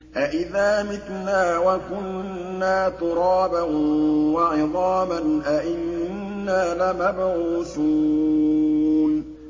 أَإِذَا مِتْنَا وَكُنَّا تُرَابًا وَعِظَامًا أَإِنَّا لَمَبْعُوثُونَ